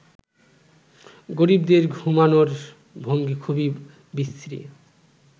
গরিবদের ঘুমোনোর ভঙ্গি খুবই বিশ্রী